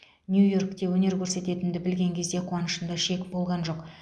нью йоркте өнер көрсететінімді білген кезде қуанышымда шек болған жоқ